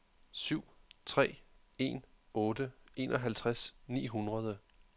syv tre en otte enoghalvtreds ni hundrede